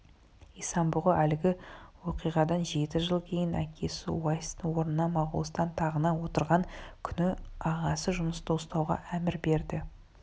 исан-бұғы әлгі оқиғадан жеті жыл кейін әкесі уайстың орнына моғолстан тағына отырған күні ағасы жұнысты ұстауға әмір берді